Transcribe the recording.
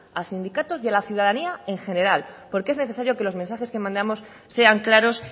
a sindicatos y a la ciudadanía en general porque es necesario que los mensajes que mandamos sean claros